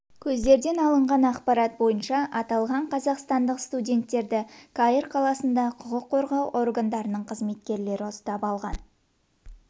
көздерден алынған ақпарат бойынша аталған қазақстандық студенттерді қаир қаласында құқық қорғау органдарының қызметкерлері ұстап алған